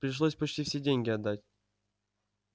пришлось почти все деньги отдать